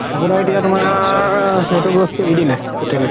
পাপু দাই এতিয়া তুমাৰ সেইটো বস্তু এৰি দিলে totally